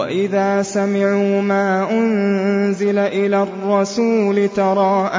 وَإِذَا سَمِعُوا مَا أُنزِلَ إِلَى الرَّسُولِ تَرَىٰ